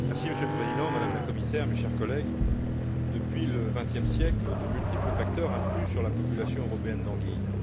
Monsieur le Président, Madame la Commissaire, chers collègues, depuis le vingtième siècle, de multiples facteurs influent sur la population européenne d'anguilles.